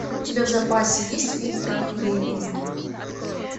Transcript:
у тебя в запасе есть фильм прах времени